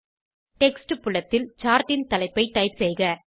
text புலத்தில் chartன் தலைப்பை டைப் செய்க